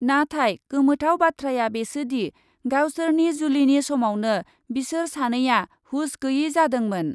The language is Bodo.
नाथाय गोमोथाव बाथ्राया बेसोदि, गावसोरनि जुलिनि समावनो बिसोर सानैआ हुस गैयै जादोंमोन।